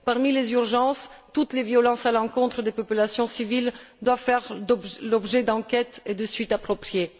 Parmi les urgences, toutes les violences à l'encontre des populations civiles doivent faire l'objet d'enquêtes et de poursuites appropriées.